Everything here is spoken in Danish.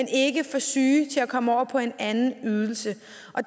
ikke for syge til at komme over på en anden ydelse